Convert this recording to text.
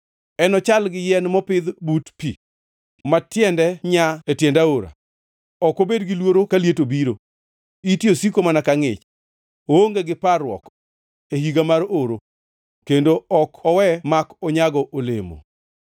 Enochal gi yien mopidh but pi ma tiende nyaa e tiend aora. Ok obed gi luoro ka liet obiro; ite osiko mana ka ngʼich. Oonge gi parruok e higa mar oro kendo ok owe ma ok onyago olemo.”